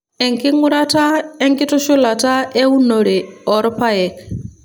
enkingurata enkitushulata eunore orpaek